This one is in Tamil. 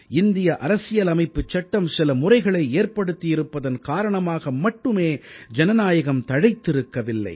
இந்திய அரசியலமைப்புச் சட்டம் சில முறைகளை ஏற்படுத்தியிருப்பதன் காரணமாக மட்டுமே ஜனநாயகம் தழைத்திருக்கவில்லை